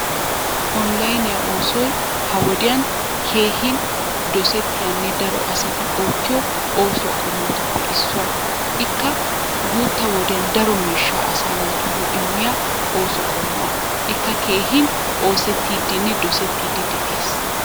Oonilayniyaa oosoy ha wodiyan keehin dosettiyanne daro asati oottiyo oosuwa qommotuppe issuwa. Ikka guutta wodiyan daro miishshaa asaa naatuyyo immiya ooso qommuwa. Ikka keehin oosettiiddinne dosettiiddi de'ees.